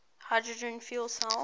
hydrogen fuel cell